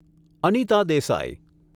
Anita Desai